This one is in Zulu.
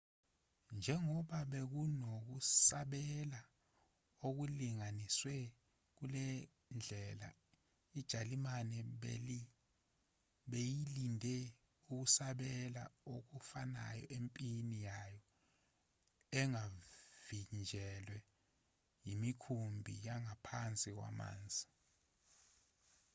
njengoba bekunokusabela okulinganiselwe kulendlela ijalimane beyilindele ukusabela okufanayo empini yayo engavinjelwe yemikhumbi yangaphansi kwamanzi